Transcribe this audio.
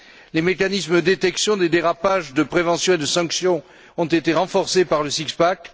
Les mécanismes de détection des dérapages, de prévention et de sanction ont été renforcés par le six pack